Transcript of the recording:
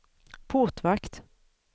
portvakt